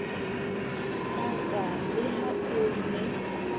hlatsa le ha o ne